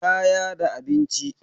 kaya da abinci